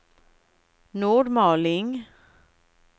Nordmaling